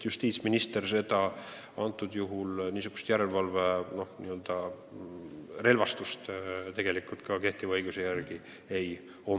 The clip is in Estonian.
Justiitsministril niisuguse järelevalve pädevust kehtiva õiguse järgi ei ole.